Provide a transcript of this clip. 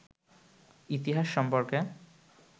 ইতিহাস সম্পর্কে